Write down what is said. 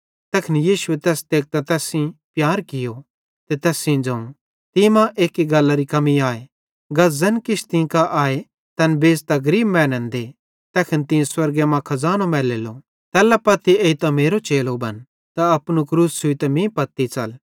तैखन यीशुए तैस तेकतां तैस सेइं प्यार कियो त तैस सेइं ज़ोवं तीं मां एक्की गल्लारी कमी आए गा ज़ैन किछ तीं कां आए तैन बेच़तां गरीब मैनन् दे तैखन तीं स्वर्गे मां खज़ानो मैलेलो तैल्ला पत्ती एइतां मेरो चेलो बना त अपनू क्रूस छ़ुइतां मीं पत्ती च़ल